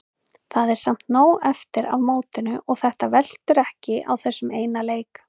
Það er samt nóg eftir af mótinu og þetta veltur ekki á þessum eina leik.